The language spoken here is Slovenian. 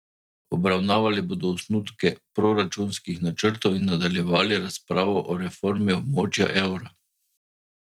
Obravnavali bodo osnutke proračunskih načrtov in nadaljevali razpravo o reformi območja evra.